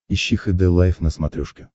ищи хд лайф на смотрешке